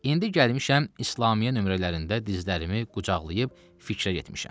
İndi gəlmişəm İslamiə nömrələrində dizlərimi qucaqlayıb fikr eləyim.